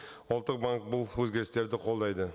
ұлттық банк бұл өзгерістерді қолдайды